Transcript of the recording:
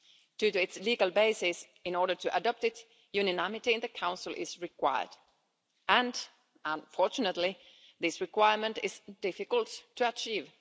Due to its legal basis, in order to adopt it, unanimity in the Council is required and, unfortunately, this requirement is difficult to achieve.